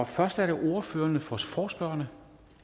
først er det ordføreren for forespørgerne